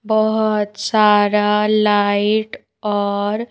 बहुत सारा लाइट और--